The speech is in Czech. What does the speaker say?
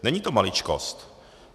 Není to maličkost.